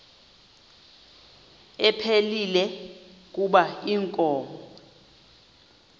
ephilile kuba inkomo